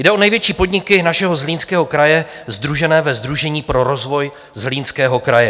Jde o největší podniky našeho Zlínského kraje sdružené ve Sdružení pro rozvoj Zlínského kraje.